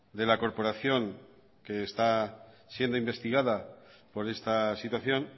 de la corporación que esta siendo investigada por esta situación